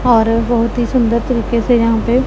और बहोत ही सुंदर तरीके से यहां पे--